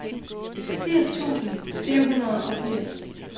firs tusind fire hundrede og firs